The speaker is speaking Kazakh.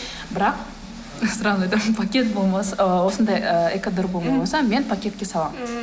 бірақ сразу айтамын пакет болмаса ыыы осындай ы экодорба болмаса мен пакетке саламын м